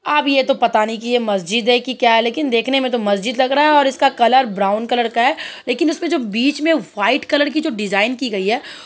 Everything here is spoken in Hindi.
अब ये तो पता नही की यह मस्जिद है कि क्या है लेकिन देखने मे तो मस्जिद लग रहा है और इसका कलर ब्राउन कलर का है। लेकिन इसमे जो बीच मे व्हाइट कलर की जो डिजाइन की गयी है --